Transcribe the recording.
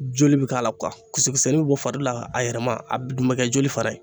Joli bi k'a la kisɛ kisɛnin bɔ fari la a yɛlɛma a dun bɛ kɛ joli fara ye